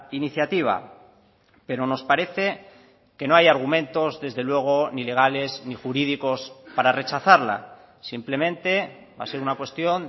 iniciativa pero nos parece que no hay argumentos desde luego ni legales ni jurídicos para rechazarla simplemente va a ser una cuestión